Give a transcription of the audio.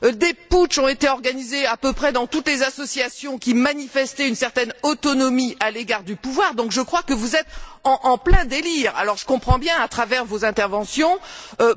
Des putschs ont été organisés à peu près dans toutes les associations qui manifestaient une certaine autonomie à l'égard du pouvoir. Je crois donc que vous êtes en plein délire. Je comprends bien, à travers vos interventions,